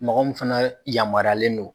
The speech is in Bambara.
Mɔgɔ min fana yamaruyalen don